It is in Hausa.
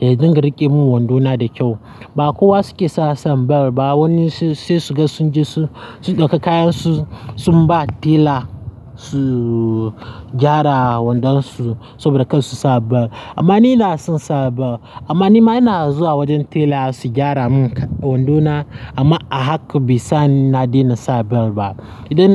ya dinga riƙe min wando na da kyau. Ba kowa suke sun sa bel ba, wani sai su ga sun je su ɗauka kayansu sun ba tela su gyara wando su saboda kar su sa bel. Amma ni na son sa bel. Amma nima ina zuwa wajen tela su gyara min wando na amma a haka bai sa ni na daina sa bel ba. Idan